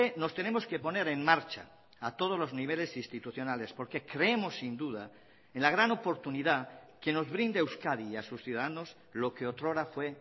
nos tenemos que poner en marcha a todos los niveles institucionales porque creemos sin duda en la gran oportunidad que nos brinda euskadi y a sus ciudadanos lo que otrora fue